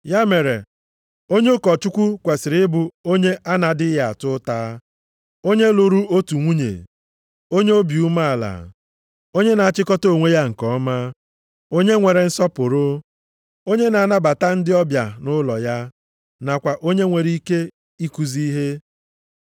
Ya mere onye ụkọchukwu + 3:2 Maọbụ, Onye nlekọta kwesiri ịbụ onye a na-adịghị ata ụta, onye lụrụ otu nwunye, onye obi umeala, onye na-achịkọta onwe ya nke ọma, onye nwere nsọpụrụ, onye na-anabata ndị ọbịa nʼụlọ ya, nakwa onye nwere ike ikuzi ihe.